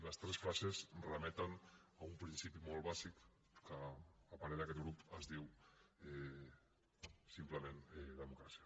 les tres frases remeten a un principi molt bàsic que a parer d’aquest grup es diu simplement democràcia